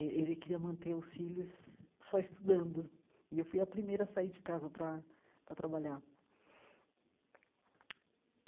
Eh ele queria manter os filhos só estudando, e eu fui a primeira a sair de casa para para trabalhar.